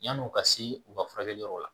Yan'o ka se u ka furakɛli yɔrɔ la